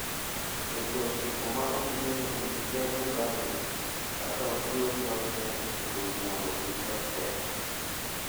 Weche ochiko ma ok ing`eyo e wi ker Mugabe kaka otiyo gi lochne e chiko ji mondo kik lok telo.